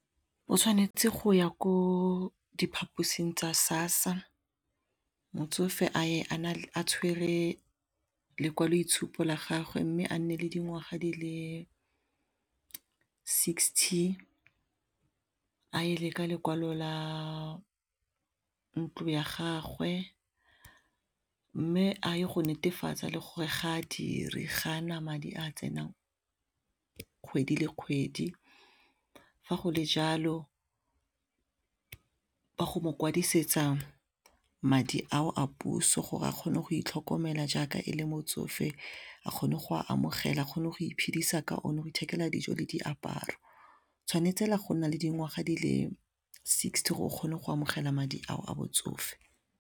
O tshwanetse go ya ko diphaposing tsa SASSA motsofe a tshware lekwaloitshupo la gagwe mme a nne le dingwaga di le sixty a e leka lekwalo la ntlo ya gagwe mme a ye go netefatsa le gore ga a dire ga na madi a tsenang kgwedi le kgwedi fa go le jalo ba go mo kwadisetsa madi ao a puso gore a kgone go itlhokomela jaaka e le motsofe a kgone go a amogela a kgone go iphidisa ka one, go ithekela dijo le diaparo tshwanetse go nna le dingwaga di le sixty gore o kgone go amogela madi ao a botsofe.